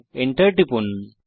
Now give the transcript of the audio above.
Enter টিপুন